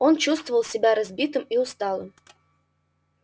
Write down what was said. он чувствовал себя разбитым и усталым